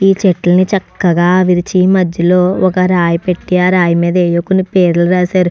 ఇక్కడ కొన్ని చెట్లు చక్కగా విరిచి మద్యలో ఒక రాయి పెట్టి ఆ రాయి మేద ఏవో కొన్ని పేర్లు రాసారు --